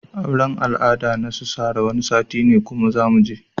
Auran al'ada nasu Sarah Wani sati ne kuma zamuje.